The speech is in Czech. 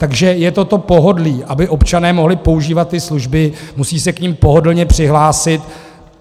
Takže je to to pohodlí - aby občané mohli používat ty služby, musí se k nim pohodlně přihlásit.